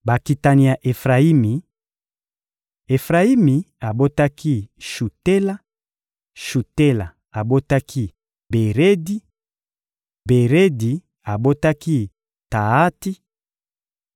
Bakitani ya Efrayimi: Efrayimi abotaki Shutela, Shutela abotaki Beredi, Beredi abotaki Taati, Taati abotaki Eleada, Eleada abotaki Taati,